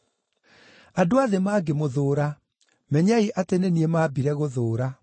“Andũ a thĩ mangĩmũthũũra, menyai atĩ nĩ niĩ maambire gũthũũra.